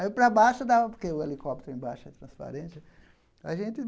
Aí para baixo dava, porque o helicóptero embaixo é transparente. A gente